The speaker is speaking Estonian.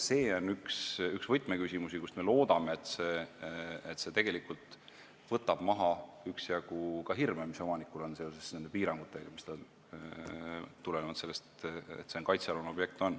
See on üks võtmeküsimusi, me loodame, et see tegelikult võtab maha üksjagu hirme, mis omanikul on nende piirangute tõttu, mis tulenevad sellest, et see on kaitsealune objekt.